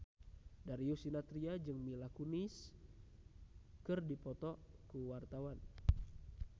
Darius Sinathrya jeung Mila Kunis keur dipoto ku wartawan